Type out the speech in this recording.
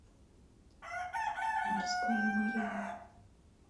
морская марина